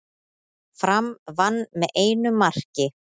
Fram vann með einu marki